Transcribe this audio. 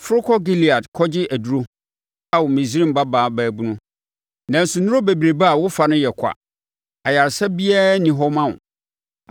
“Foro kɔ Gilead kɔgye aduro Ao, Misraim Babaa Babunu. Nanso, nnuro bebrebe a wofa no yɛ kwa, ayaresa biara nni hɔ ma wo.